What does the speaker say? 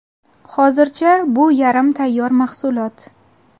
Hozircha bu yarim tayyor mahsulot.